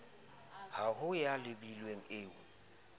ha ho ya holebilwe eo